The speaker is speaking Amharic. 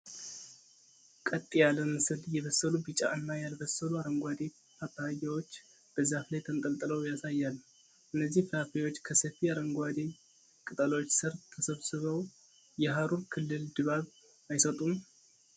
ቀጥ ያለ ምስል የበሰሉ ቢጫ እና ያልበሰሉ አረንጓዴ ፓፓያዎች በዛፍ ላይ ተንጠልጥለው ያሳያል፤ እነዚህ ፍራፍሬዎች ከሰፊ አረንጓዴ ቅጠሎች ስር ተሰብስበው የሐሩር ክልል ድባብ አይሰጡም?